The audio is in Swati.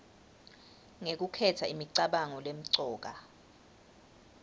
ngekukhetsa imicabango lemcoka